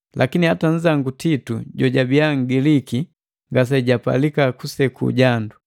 Lakini hata nnzangu Titu, jojabii Ngiliki, ngasejapalika kuseku jandu.